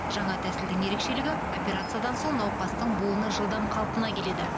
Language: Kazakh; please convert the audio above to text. жаңа тәсілдің ерекшелігі операциядан соң науқастың буыны жылдам қалпына келеді